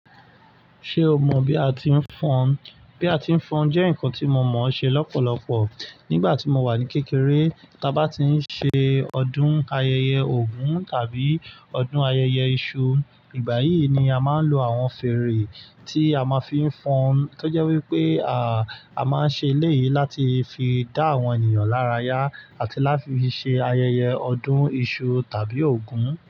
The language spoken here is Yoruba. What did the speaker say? Ṣé o mọ̀ bí a ti ń fọnu? Bí a ti ń fọn jẹ́ ǹkan tí mo mọ̀ ṣe lọ́pọ̀lọpọ̀, nígbàtí mo wà ní kékeré, tí a bá ti ń ṣe ọdún ayẹyẹ Ògún tàbí ọdún ayẹyẹ iṣu, ìgbà yìí ni a máa ń lo àwọn fèrè tí a ma fi ń fọn, tó jẹ́ wí pé a máa ń ṣe eléyì láti fi dá àwọn ènìyàn láràyá àti láti fi ṣe ayẹyẹ ọdún iṣu tàbí Ògún.